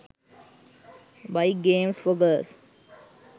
bike games for girls